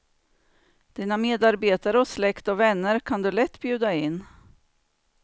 Dina medarbetare och släkt och vänner kan du lätt bjuda in.